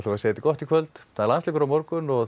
að segja þetta gott í kvöld það er landsleikur á morgun og